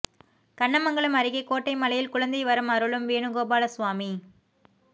கண்ணமங்கலம் அருகே கோட்டை மலையில் குழந்தை வரம் அருளும் வேணுகோபால சுவாமி